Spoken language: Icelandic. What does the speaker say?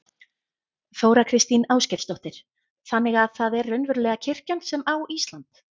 Þóra Kristín Ásgeirsdóttir: Þannig að það er raunverulega kirkjan sem á Ísland?